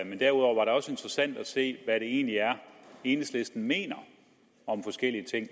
og derudover var det også interessant at se hvad det egentlig er enhedslisten mener om forskellige ting